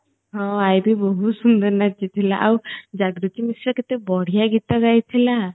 ହଁ ଆଇ ଭି ବହୁତ ସୁନ୍ଦର ନାଚି ଥିଲା ଆଉ ଜାଗୃତି ମିଶ୍ର କେତେ ବଢ଼ିଆ ଗୀତ ଗାଇ ଥିଲା